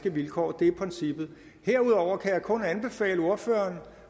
vilkår det er princippet herudover kan jeg kun anbefale ordføreren